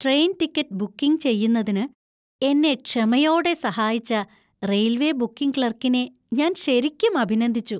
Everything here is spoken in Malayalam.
ട്രെയിൻ ടിക്കറ്റ് ബുക്കിംഗ് ചെയ്യുന്നതിന് എന്നെ ക്ഷമയോടെ സഹായിച്ച റെയിൽവേ ബുക്കിംഗ് ക്ലർക്കിനെ ഞാൻ ശരിക്കും അഭിനന്ദിച്ചു.